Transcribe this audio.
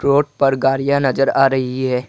Road पर गाड़ियां नजर आ रही है।